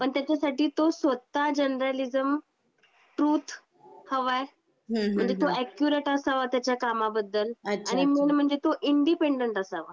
हम्म. जागरूक तर होणारच हम्म पण त्याच्यासाठी तो स्वतः जर्नलिज्म ट्रूथ हवा आहे, म्हणजे हम्म हम्म हम्म. तो अक्यूरेट असावा त्याच्या कामाबद्दल अच्छा अच्छा आणि मेन म्हणजे तो इंडिपेंडेंट असावा.